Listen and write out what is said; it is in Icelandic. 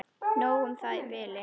Nóg um það í bili.